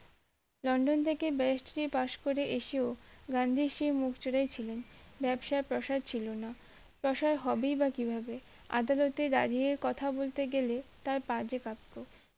London থেকে barrister টেরি পাস করে এসেও গান্ধীর সেই মুখচোরায় ছিলেন ব্যবসার প্রাসার ছিল না প্রাসার হবেই বা কি করে আদালতে দাঁড়িয়ে কথা বলতে গেলে তার পা যে কাঁপতো